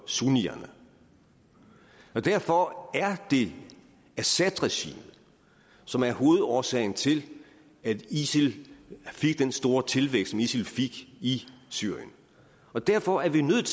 sunnierne derfor er det assadregimet som er hovedårsagen til at isil fik den store tilvækst som isil fik i syrien og derfor er vi nødt